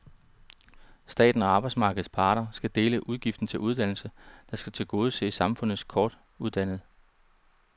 Staten og arbejdsmarkedets parter skal dele udgiften til uddannelsen, der skal tilgodese samfundets kortuddannede.